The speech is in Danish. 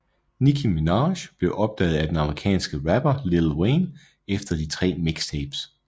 Nicki Minaj blev opdaget af den amerikanske rapper Lil Wayne efter de tre mixtapes